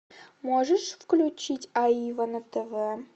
можешь включить аива на тв